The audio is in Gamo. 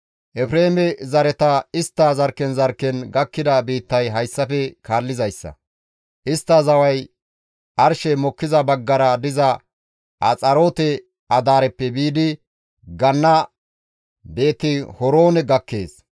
Efreeme zareta istta zarkken zarkken gakkida biittay hayssafe kaallizayssa; istta zaway arshey mokkiza baggara diza Axaroote-Adaareppe biidi ganna Beeti-Horoone gakkees.